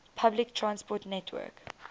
public transport network